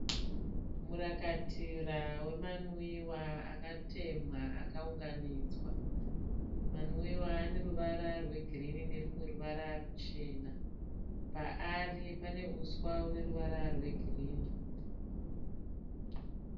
Murakatira wemanwiwa akatemhewa akaunganidzwa, manwiwa aneruvara rwegirina nemachena, paari paneuswa hwegirini.